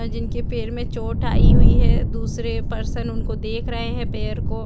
जिनके पैर में चोट आई हुई है दूसरे पर्सन उनको देख रहे हैं पैर को।